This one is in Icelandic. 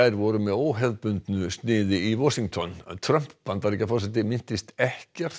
voru með óhefðbundnu sniði í Washington í Trump Bandaríkjaforseti minntist ekkert